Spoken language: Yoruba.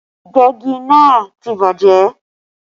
Ìgbẹ́gi náà ti bàjẹ́